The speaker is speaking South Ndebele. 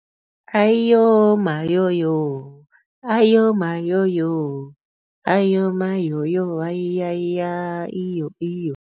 Ayiyomayoyo ayomayoyo ayomayoyo hayiyaya iyo iyo.